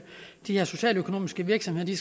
de her socialøkonomiske virksomheder